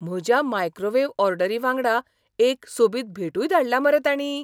म्हज्या मायक्रोवेव्ह ऑर्डरी वांगडा एक सोबीत भेटूय धाडल्या मरे तांणीं.